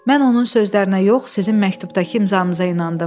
Mən onun sözlərinə yox, sizin məktubdakı imzanıza inandım.